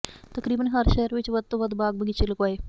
ਤਕਰੀਬਨ ਹਰ ਸ਼ਹਿਰ ਵਿੱਚ ਵੱਧ ਤੋਂ ਵੱਧ ਬਾਗ ਬਗੀਚੇ ਲਗਵਾਏ